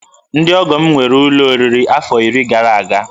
Ndị ọgọ m nwere ụlọ oriri afọ iri gara aga